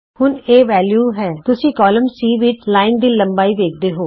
ਹੁਣ ਅਜੇ ਇਹ ਵੈਲਯੂ ਤੇ ਹੈ ਇਸ ਲਈ ਤੁਸੀਂ ਕਾਲਮ C ਵਿਚ ਰੇਖਾ ਦੀ ਲੰਬਾਈ ਵੇਖਦੇ ਹੋ